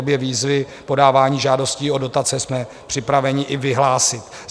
Obě výzvy - podávání žádostí o dotace - jsme připraveni i vyhlásit.